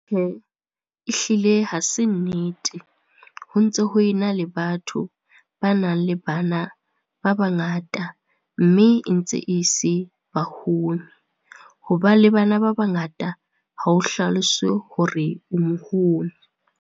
Ehlile ha se nnete, ho ntse ho e na le batho ba nang le bana ba bangata mme e ntse e se baholo. Ho ba le bana ba bangata ha o hlalose hore o moholo.